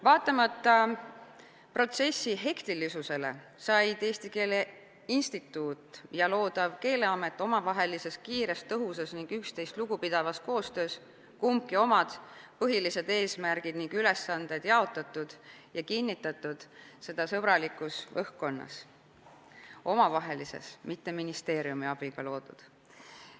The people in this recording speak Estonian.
Vaatamata protsessi hektilisusele said Eesti Keele Instituut ja loodav Keeleamet omavahelises kiires tõhusas ning üksteisest lugupidavas koostöös oma põhilised eesmärgid ning ülesanded jaotatud ja kinnitatud, ning seda sõbralikus õhkkonnas – omavahelises, mitte ministeeriumi abiga loodud.